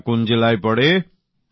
সেটা কোন জেলায় পড়ে